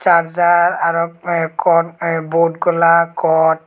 sarjar araw hoi ek gon ey bot gola kot.